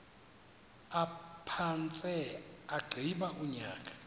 aphantse agqiba unyaka